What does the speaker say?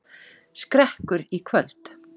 Skrekkur í kvöld